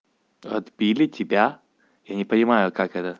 отбили тебя я не понимаю как это